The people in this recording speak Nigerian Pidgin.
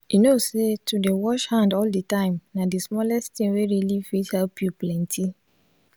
you know say to dey wash hand all the time na d smallest thing wey really fit help u plenty